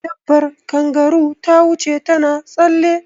Dabar kangaru ta wuce ta na tsalle